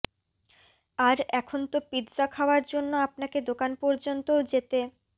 আর এখন তো পিত্জা খাওয়ার জন্য আপনাকে দোকান পর্যন্তও যেতে